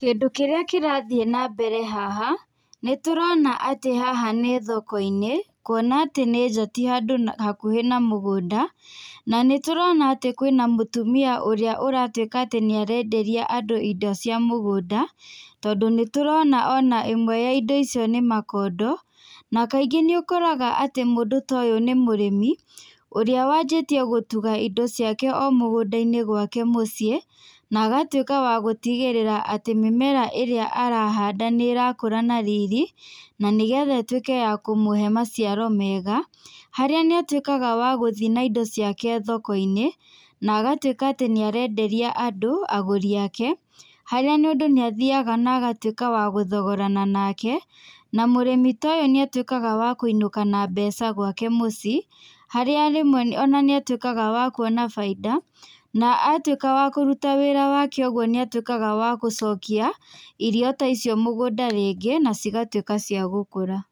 Kĩndũ kĩrĩa kĩrathiĩ na mbere nĩ tũrona atĩ haha nĩ thoko-inĩ, nĩ nja na ti handũ atĩ nĩ hakuhĩ na mũgũnda, na nĩ tũrona atĩ kwĩna mũtumia ũrĩa ũratuĩka atĩ nĩ arenderi andũ indo cia mũgũnda, tondũ nĩ tũrona ĩmwe ya indo icio nĩ makondo, na kaingĩ nĩ ũkoraga mũndũ ta ũyũ kaingĩ nĩ mũrĩmi ũrĩa wanjĩtie gũtuga indo ciake kuma o mũgũnda-inĩ gwake mũciĩ na agatuĩka wa gũtigĩrĩra atĩ mĩmera ĩrĩa arahanda nĩ rakũra na riri na nĩgetha ĩtuĩke ya kũmũhe maciaro mega harĩa hatuĩkaga atĩ nĩ ararthiĩ na indo ciake thoko-inĩ, na agautuĩka atĩ nĩ arenderia andũ, agũria ake, harĩa mũndũ nĩ athiaga na agatuĩka wagũthogorana nake na mũrĩmi ta ũyũ nĩ atuĩkaga wa kũinũka na mbeca gwake mũciĩ harĩa rĩmwe nĩ atuĩkaga wa kwona baita na atuĩka wa kũruta wĩra wake ũguo nĩ atuĩkaga wa gũcokia irio ta icio mũgũnda rĩngĩ na cigatuĩka cia gũkũra.